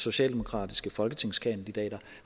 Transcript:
socialdemokratiske folketingskandidater